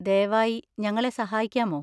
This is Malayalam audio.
ദയവായി ഞങ്ങളെ സഹായിക്കാമോ?